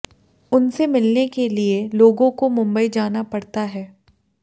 उनसे मिलने के लिए लोगों को मुंबई जाना पड़ता है